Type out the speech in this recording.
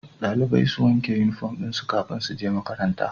Dalibai su wanke inufom dinsu kafin suje makaranta